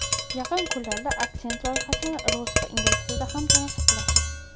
Yaqin kunlarda Aksent loyihasini rus va ingliz tilida ham tomosha qilasiz.